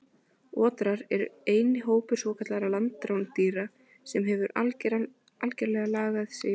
Otrar eru eini hópur svokallaðra landrándýra sem hefur algerlega lagað sig að lífi í vatni.